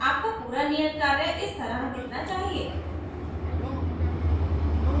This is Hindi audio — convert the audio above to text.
आपका पूरा नियत कार्य इस तरह दिखना चाहिए